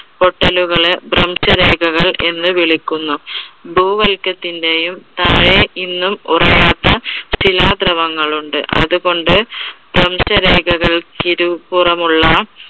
പൊട്ടലുകളെ ഭ്രംശരേഖകൾ എന്ന് വിളിക്കുന്നു. ഭൂവല്കത്തിന്റെയും താഴെ ഇന്നും ഉറയാത്ത ചില ധ്രുവങ്ങൾ ഉണ്ട്. അതുകൊണ്ട് ഭ്രംശരേഖകൾക്ക് ഇരുപുറം ഉള്ള